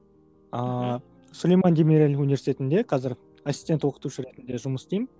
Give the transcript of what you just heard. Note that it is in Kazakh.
ааа сулейман демирель университетінде қазір ассистент оқытушы ретінде жұмыс істеймін